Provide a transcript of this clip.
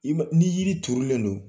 I ma ni yiri turulen non